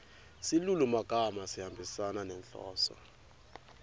silulumagama sihambisana nenhloso